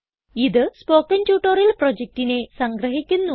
ഇത് spoken tutorial പ്രൊജക്റ്റിനെ സംഗ്രഹിക്കുന്നു